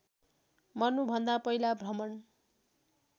मर्नुभन्दा पहिला भ्रमण